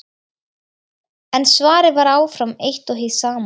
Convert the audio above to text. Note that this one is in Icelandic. En svarið var áfram eitt og hið sama.